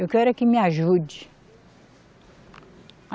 Eu quero é que me ajude.